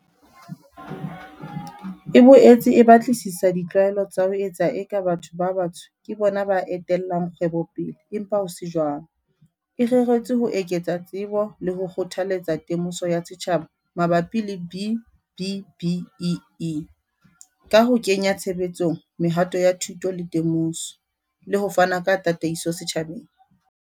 E boetse e batlisisa di tlwaelo tsa ho etsa eka batho ba batsho ke bona ba etellang kgwebo pele empa ho se jwalo, e reretswe ho eketsa tsebo le ho kgothaletsa temoso ya setjhaba mabapi le B-BBEE, ka ho kenya tshebetsong mehato ya thuto le temoso, le ho fana ka tataiso setjhabeng.